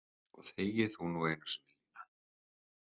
Og þegi þú nú einu sinni Lína!